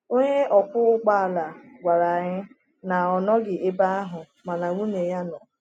Onye ọkwọ ụgbọ ala gwara anyị na ọ nọghị ebe ahụ mana nwunye ya nọ.